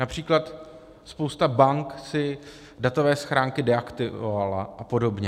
Například spousta bank si datové schránky deaktivovala a podobně.